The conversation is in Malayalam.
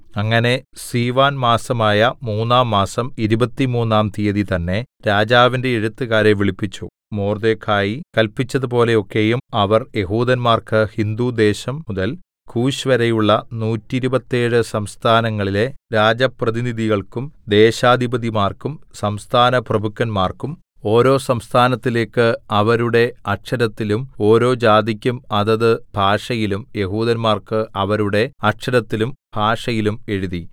അങ്ങനെ സീവാൻ മാസമായ മൂന്നാം മാസം ഇരുപത്തിമൂന്നാം തീയതി തന്നേ രാജാവിന്റെ എഴുത്തുകാരെ വിളിച്ചു മൊർദെഖായി കല്പിച്ചതുപോലെ ഒക്കെയും അവർ യെഹൂദന്മാർക്ക് ഹിന്ദുദേശം മുതൽ കൂശ്‌വരെയുള്ള നൂറ്റിരുപത്തേഴ് സംസ്ഥാനങ്ങളിലെ രാജപ്രതിനിധികൾക്കും ദേശാധിപതിമാർക്കും സംസ്ഥാനപ്രഭുക്കന്മാർക്കും ഓരോ സംസ്ഥാനത്തിലേക്ക് അവരുടെ അക്ഷരത്തിലും ഓരോ ജാതിക്കും അതത് ഭാഷയിലും യെഹൂദന്മാർക്ക് അവരുടെ അക്ഷരത്തിലും ഭാഷയിലും എഴുതി